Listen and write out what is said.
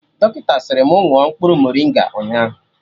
Dọkịta sịrị mụ ṅụọ mkpụrụ morịnga nga ụnyaahụ